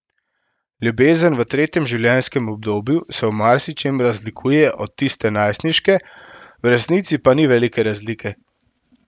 Ljubezen v tretjem življenjskem obdobju se v marsičem razlikuje od tiste najstniške, v resnici pa ni velike razlike.